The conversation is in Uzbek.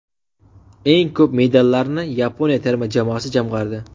Eng ko‘p medallarni Yaponiya terma jamoasi jamg‘ardi.